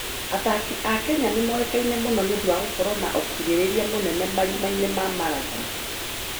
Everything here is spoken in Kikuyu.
Athaki a Kenya nĩ moĩkaine mũno nĩ ũndũ wa gũkorũo na ũkirĩrĩria mũnene marima-inĩ ma marathoni.